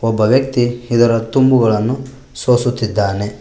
ಒಬ್ಬ ವ್ಯಕ್ತಿ ಇದರ ತುಂಬುಗಳನ್ನು ಸೂಸುತಿದ್ದಾನೆ.